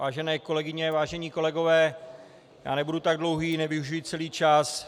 Vážené kolegyně, vážení kolegové, já nebudu tak dlouhý, nevyužiji celý čas.